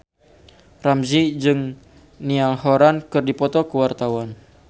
Ramzy jeung Niall Horran keur dipoto ku wartawan